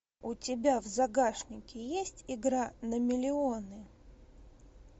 у тебя в загашнике есть игра на миллионы